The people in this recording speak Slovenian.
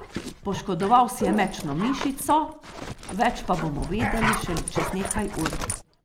Poškodoval si je mečno mišico, več pa bomo vedeli šele čez nekaj ur.